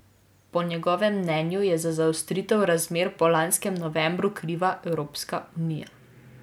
Po njegovem mnenju je za zaostritev razmer po lanskem novembru kriva Evropska unija.